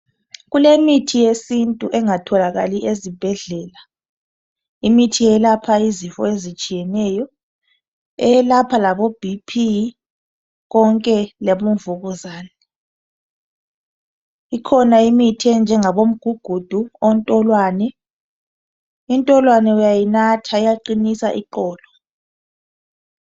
kulemithi yesintu engatholakali ezibhedlela imithi eyelapha izifo ezitshiyeneyo eyelapha labo BP konke labo mvukuzane ikhona imithi enjengabo mgugudu ontolwane intolwane bayinatha iyaqinisa iqolo